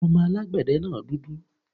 Ọmọ alágbẹ̀de náà dúdú